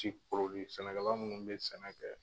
Jiri sɛnɛka minnu bɛ sɛnɛ kɛ.